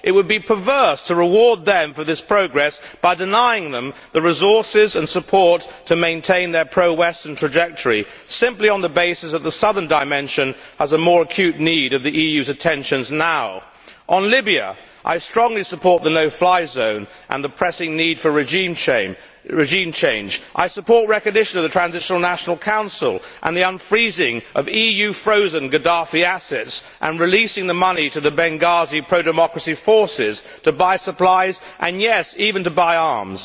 It would be perverse to reward them for this progress by denying them the resources and support to maintain their pro Western trajectory, simply on the basis that the Southern Dimension has more acute need of the EU's attentions now. On Libya, I strongly support the no fly zone and the pressing need for regime change. I support recognition of the Transitional National Council and the unfreezing of EU frozen Gaddafi assets and releasing the money to the Benghazi pro democracy forces to buy supplies and, yes, even to buy arms.